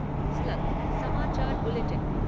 slug समाचार bulletin